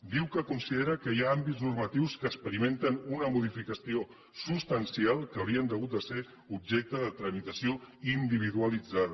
diu que considera que hi ha àmbits normatius que experimenten una modificació substancial que haurien hagut de ser objecte de tramitació individualitzada